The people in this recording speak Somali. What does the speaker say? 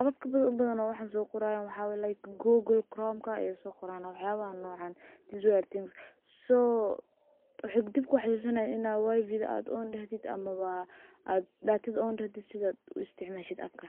apapka ugubadhan waxaa liskaga bahanayahay in datada laisticmalo marwalbo oo arimahas lagudax jiro, sas darted arimahan ad ayay ugubadhanyihin qadadka ona sida uisticmashid appka.